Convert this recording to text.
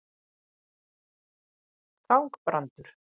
Þangbrandur